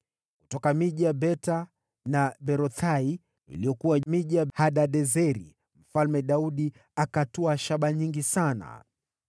Kutoka miji ya Beta na Berothai, iliyokuwa miji ya Hadadezeri, Mfalme Daudi akatwaa shaba nyingi sana.